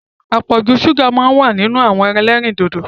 Apọ̀jù ṣúgà máa ń wà nínú àwọn ẹlẹ́rìndòdò.